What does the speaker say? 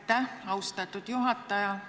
Aitäh, austatud juhataja!